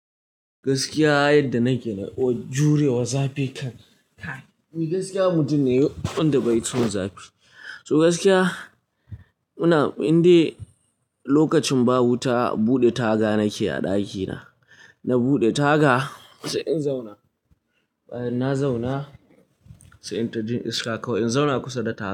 Gaskiya yadda nake na jure wazafi kan. Ni gaskiya mutum ne wanda bai son zafi. To gaskiya ina, in dai lokacin ba wuta buɗe taga nake a ɗakina. Na buɗe taga sai in zauna. Bayan na zauna sai in ta jin iska kawai. In zauna kusa da taga.